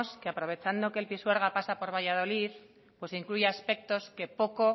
que aprovechando que el pisuerga pasa por valladolid incluye aspectos que poco